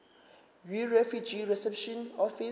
yirefugee reception office